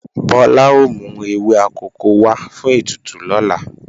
Bọ́lá ó mú ewé akòko wá fún ètùtù lọ́la